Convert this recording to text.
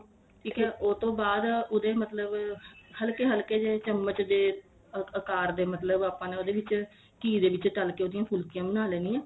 ਠੀਕ ਏ ਉਹ ਤੋਂ ਬਾਅਦ ਉਹਦੇ ਮਤਲਬ ਹਲਕੇ ਹਲਕੇ ਜੇ ਚਮਚ ਜੇ ਆਕਾਰ ਦੇ ਮਲਤਬ ਆਪਾਂ ਦੇ ਉਹਦੇ ਵਿੱਚ ਘੀ ਦੇ ਵਿੱਚ ਤਲ ਕੇ ਉਹਦੀਆਂ ਫੁਲਕੀਆਂ ਬਣਾ ਲੈਂਦੀ ਆ